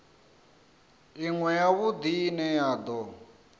iṅwe zwavhudi ine ya do